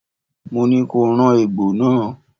Mo ní ko rán egbò náà!